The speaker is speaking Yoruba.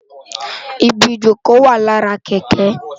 Ibi ijókö wá làrá kèkè